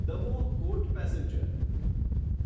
Damoh Kot passenger